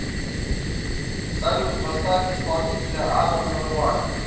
салют поставь исполнителя адам левайн